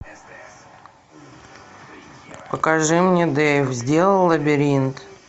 покажи мне дэйв сделал лабиринт